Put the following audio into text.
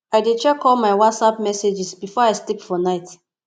i dey check all my whatsapp messages before i sleep for night